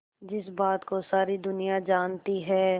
जिस बात को सारी दुनिया जानती है